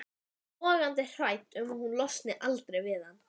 Logandi hrædd um að hún losni aldrei við hann.